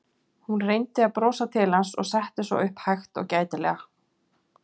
Hún reyndi að brosa til hans og settist svo upp hægt og gætilega.